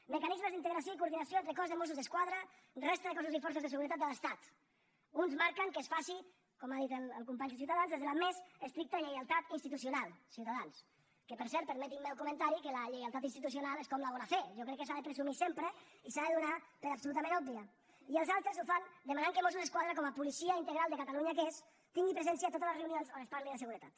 mecanismes d’integració i coordinació entre cos de mossos d’esquadra resta de cossos i forces de seguretat de l’estat uns marquen que es faci com ha dit el company de ciutadans des de la més estricta lleialtat institucional ciutadans que per cert permetin me el comentari que la lleialtat institucional és com la bona fe jo crec que s’ha de presumir sempre i s’ha de donar per absolutament òbvia i els altres ho fan demanant que mossos d’esquadra com a policia integral de catalunya que és tingui presència a totes les reunions on es parli de seguretat